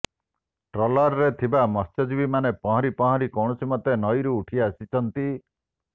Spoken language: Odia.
ଟ୍ରଲର୍ରେ ଥିବା ମତ୍ସ୍ୟଜୀବୀମାନେ ପହଁରି ପହଁରି କୌଣସିମତେ ନଈରୁ ଉଠି ଆସିଛନ୍ତି